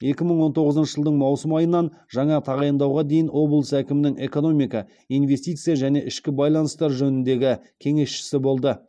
екі мың он тоғызыншы жылдың маусым айынан жаңа тағайындауға дейін облыс әкімінің экономика инвестиция және ішкі байланыстар жөніндегі кеңесшісі болды